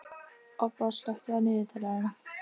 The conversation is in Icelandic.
Obba, slökktu á niðurteljaranum.